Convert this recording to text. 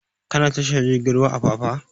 Ka na tashar jirgin apapa?